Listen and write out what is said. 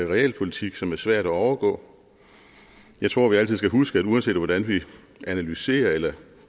realpolitik som er svært at overgå jeg tror at vi altid skal huske at det uanset hvordan vi analyserer eller